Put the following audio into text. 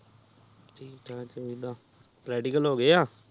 ਠੀਕ ਠਾਕ ਚਾਹੀਦਾ ਪਪਰੈਟਿਕਲੇ ੋ ਗਏ ਆ